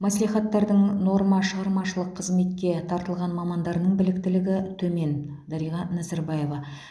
мәслихаттардың норма шығармашылық қызметке тартылған мамандарының біліктілігі төмен дариға назарбаева